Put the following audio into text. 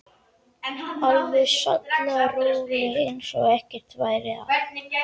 Alveg sallaróleg eins og ekkert væri að.